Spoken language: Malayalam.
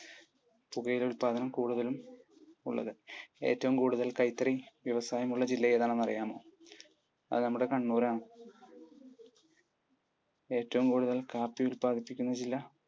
പുകയില ഉത്പാദനം കൂടുതലും ഉള്ളത്. ഏറ്റവും കൂടുതൽ കൈത്തറി വ്യവസായം ഉള്ള ജില്ല ഏതാണെന്ന് അറിയാമോ? അത് നമ്മുടെ കണ്ണൂരാണ്. ഏറ്റവും കൂടുതൽ കാപ്പി ഉല്പാദിപ്പിക്കുന്ന ജില്ല